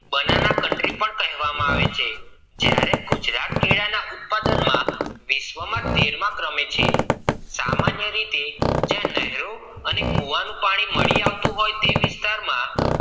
banana county પણ કહેવામાં આવે છે જ્યારે ગુજરાત કેળાં ના ઉત્પાદન માં વિશ્વ માં તેરમા ક્રમે છે સામન્ય રીતે જ્યાં નહેરો અને કૂવા નું પાણી મળી આવતું હોય તે વિસ્તાર માં કેળાં